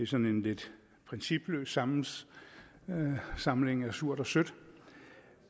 sådan en lidt principiel samling samling af surt og sødt